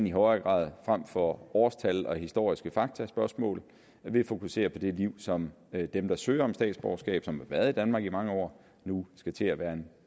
i højere grad frem for årstal og historiske faktaspørgsmål bliver fokuseret på det liv som dem der søger om statsborgerskab og som har været i danmark i mange år nu skal til at være en